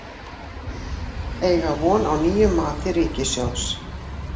Eiga von á nýju mati ríkissjóðs